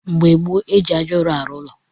Mgbe gboo, eji ájá ụrụ arụ ụlọ